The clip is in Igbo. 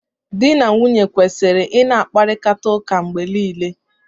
Di na nwunye kwesịrị ị na-akparịta ụka mgbe niile.